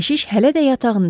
Keşiş hələ də yatağında idi.